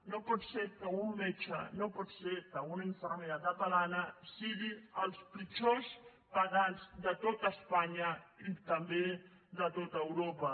no pot ser que un metge no pot ser que una infermera catalana siguin els pitjors pagats de tot espanya i també de tot europa